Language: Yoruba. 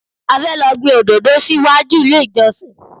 A fẹ́ lọ gbin òdòdó sí wájú ilé ìjọsìn.